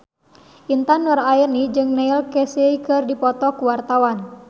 Intan Nuraini jeung Neil Casey keur dipoto ku wartawan